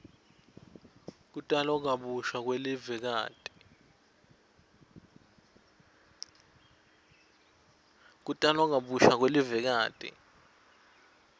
kutalwa kabusha kwelivekati